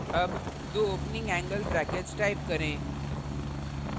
अब दो opening angle brackets type करें